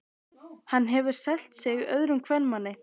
Hann hefur selt sig öðrum kvenmanni.